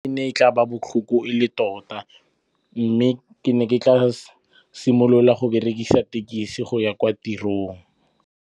E ne e tla ba botlhoko e le tota mme ke ne ke tla simolola go berekisa tekisi go ya kwa tirong.